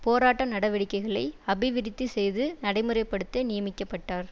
போராட்ட நடவடிக்கைகளை அபிவிருத்தி செய்து நடைமுறை படுத்த நியமிக்க பட்டார்